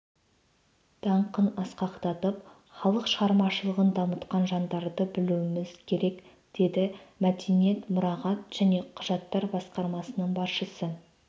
даңқын асқақтатып халық шығармашылығын дамытқан жандарды білуіміз керек деді мәдениет мұрағат және құжаттар басқармасының басшысы